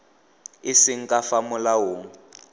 e seng ka fa molaong